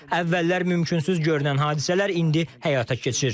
Əvvəllər mümkünsüz görünən hadisələr indi həyata keçir.